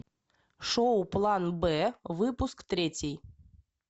шоу план б выпуск третий